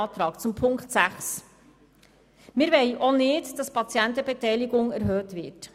Ich komme zu Ziffer 6: Wir wollen auch nicht, dass die Patientenbeteiligung erhöht wird.